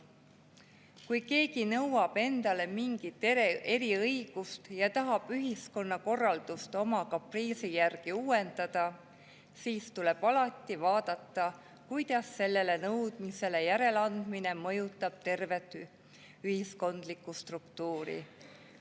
Kui keegi nõuab endale mingit eriõigust ja tahab ühiskonnakorraldust oma kapriisi järgi uuendada, siis tuleb alati vaadata, kuidas sellele nõudmisele järeleandmine mõjutab tervet ühiskondlikku struktuuri.